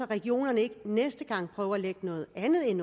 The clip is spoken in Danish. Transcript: regionerne ikke næste gang prøver at lægge noget andet ind